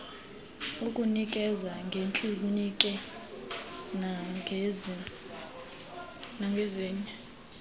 ukunikeza ngeekliniki nangezinye